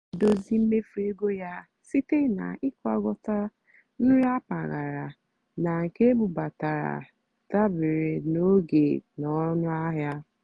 ọ́ nà-èdózì mméfú égó yá síte nà ị́gwàkọ́tá nrì mpàgàrà nà nkè ébúbátàrá dàbérè nà ógè nà ónúàhịá.